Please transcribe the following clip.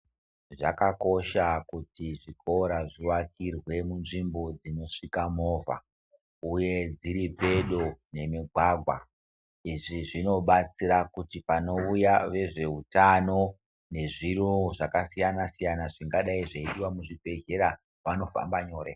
Zvakakosha kuti zvikora zviakirwe munzvimbo dzinosvika movha uye dziri pedo nemugwagwa izvo zvinobatsira kuti panouya vezveutano nezviro zvakasiyana siyana zvingadai zveidiwa muzvibhedhleya vanofamba nyore.